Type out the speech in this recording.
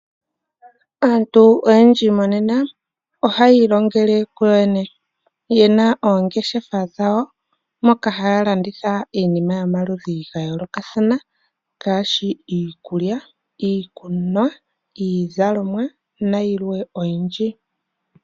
Aantu oyendji monena ihayiilongele kuyo yene yena oongeshefa dhawo moka haya landitha iinima yomaludhi gayoolokathana ngaashi iikulya, iikunwa, iizalomwa nayilwe oyindji.